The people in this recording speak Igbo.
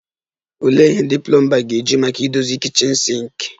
Olee ihe ndị plomba ga-eji maka idozi kichin sinki?